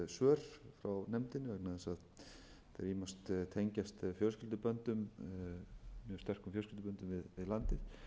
svör frá nefndinni vegna þess að þeir tengjast mjög sterkum fjölskylduböndum við landið